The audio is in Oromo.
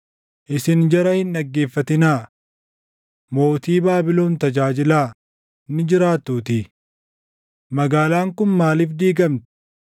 Isin jara hin dhaggeeffatinaa. Mootii Baabilon tajaajilaa; ni jiraattuutii. Magaalaan kun maaliif diigamti?